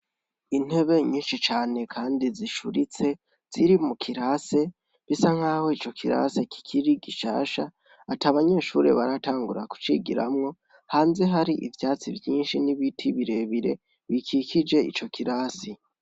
Intebe nyinshi cane kandi zicuritse, ziri mukirase ,bisa nkaho ico kirase kikiri gishasha, atabanyeshure baratangura kucigiramwo, hanze hari ivyatsi vyinshi n'ibiti birebire, bikikije ico kirasi.